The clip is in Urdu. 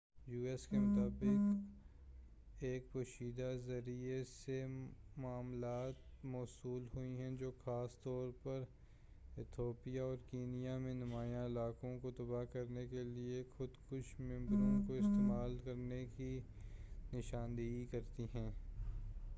u.s. کے مطابق اسے ایک پوشیدہ ذریعے سے معلومات موصول ہوئی ہیں جو خاص طور پر ایتھوپیا اور کینیا میں نمایاں علاقوں کو تباہ کرنے کے لیے خودکش بمباروں کو استعمال کرنے کی نشاندہی کرتی ہیں